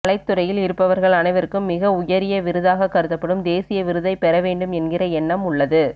கலைத்துறையில் இருப்பவர்கள் அனைவர்க்கும் மிக உயரிய விருதாக கருதப்படும் தேசிய விருதை பெற வேண்டும் என்கிற எண்ணம் உள்ளது